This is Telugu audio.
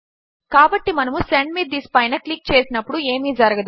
కాబట్టి మనము సెండ్ మే థిస్ పైన క్లిక్ చేసినప్పుడు ఏమీ జరగదు